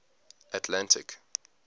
atlantic